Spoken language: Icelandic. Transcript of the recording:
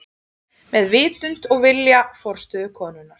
Með vitund og vilja forstöðukonunnar.